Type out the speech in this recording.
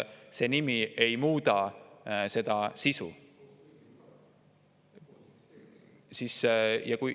See nimi ei muuda seda sisu.